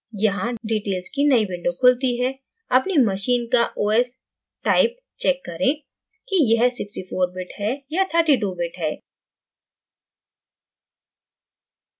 यहाँ details की नई window खुलती है अपनी machine का os type check करें कि यह 64bit है या 32bit है